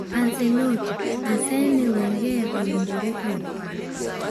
Ancelotti: Arsene Wenger owinjore oyud pak